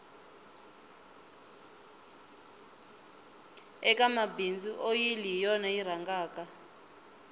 eka mabindzu oyili hi yona yi rhangaka